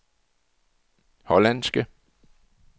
hollandske